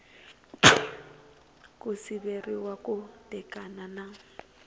ku siveriwa ku tekana na